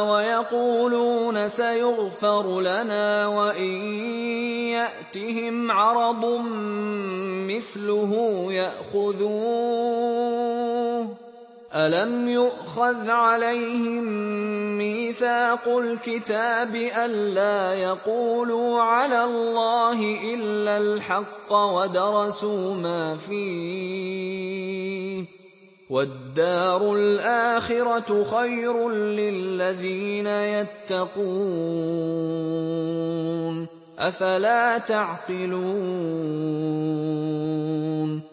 وَيَقُولُونَ سَيُغْفَرُ لَنَا وَإِن يَأْتِهِمْ عَرَضٌ مِّثْلُهُ يَأْخُذُوهُ ۚ أَلَمْ يُؤْخَذْ عَلَيْهِم مِّيثَاقُ الْكِتَابِ أَن لَّا يَقُولُوا عَلَى اللَّهِ إِلَّا الْحَقَّ وَدَرَسُوا مَا فِيهِ ۗ وَالدَّارُ الْآخِرَةُ خَيْرٌ لِّلَّذِينَ يَتَّقُونَ ۗ أَفَلَا تَعْقِلُونَ